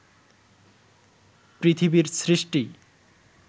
পৃথিবীর সৃষ্টি